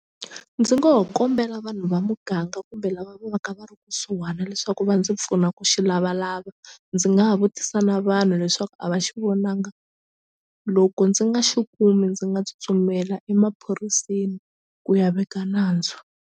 Ndzi ngo ho kombela vanhu va muganga kumbe lava va va ka va ri kusuhani leswaku va ndzi pfuna ku xi lavalava ndzi nga ha vutisa leswaku a va xi vonganga loko ndzi nga xi kumi ndzi nga tsutsumela emaphoriseni ku ya veka nandzu.